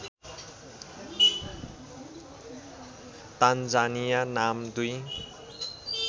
Tanzania नाम दुई